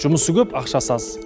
жұмысы көп ақшасы аз